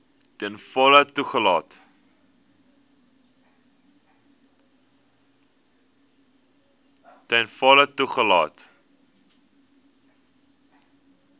ten volle toegelaat